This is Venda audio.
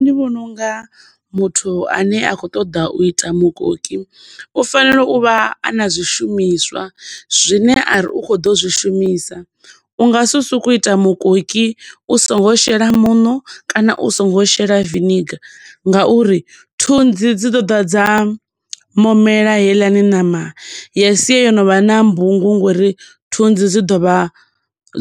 Ndi vhona unga muthu ane a khou ṱoḓa u ita mukoki u fanela u vha ana zwishumiswa zwine ari u khou ḓo zwi shumisa, u nga si soko ita mukoki u songo u shela muṋo kana u songo shela vinegar, nga uri thunzi dzi ḓo ḓa dza momela heiḽani ṋama ya siya yo no vha na mbungu ngo uri thunzi dzi ḓo vha